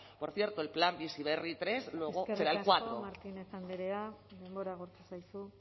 por cierto el plan bizi berri tercero luego será el cuarto eskerrik asko martínez andrea denbora agortu zaizu